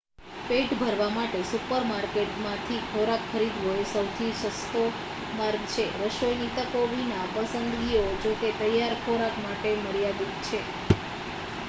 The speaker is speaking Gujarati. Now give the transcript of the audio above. પેટ ભરવા માટે સુપરમાર્કેટમાંથી ખોરાક ખરીદવો એ સૌથી સસ્તો માર્ગ છે રસોઈની તકો વિના પસંદગીઓ જોકે તૈયાર ખોરાક માટે મર્યાદિત છે